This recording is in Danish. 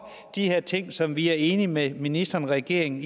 de her ting som vi er enige med ministeren og regeringen